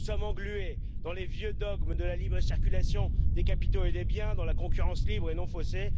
Nous sommes englués dans les vieux dogmes de la libre circulation des capitaux et des biens, dans la concurrence libre et non faussée.